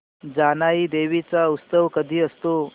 जानाई देवी चा उत्सव कधी असतो